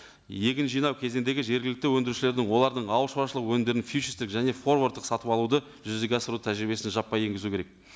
егін жинау кезеңдегі жергілікті өндірушілердің олардың ауыл шаруашылығы өнімдерін фьючерстік және форвардтық сатып алуды жүзеге асыру тәжірибесін жаппай енгізу керек